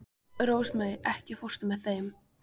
Rósmarý, ekki fórstu með þeim?